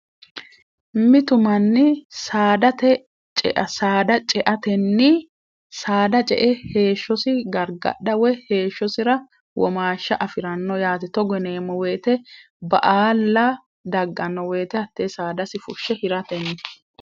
mitumanni saadate saada ceatenni saada ce e heeshshosi gargadhawo heeshshosira womaashsha afi'ranno yaati togoneemmo woyite ba aalla dagganno woyite hattee saadasi furhshe hiratenni